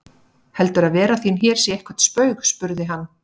Heldurðu að vera þín hér sé eitthvert spaug spurði hann.